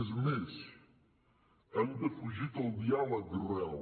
és més han defugit el diàleg real